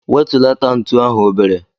Wetulata ntu ahu obere!